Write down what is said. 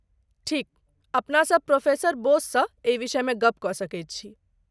ठीक, अपनासभ प्रोफेसर बोससँ एहि विषयमे गप्प कऽ सकैत छी।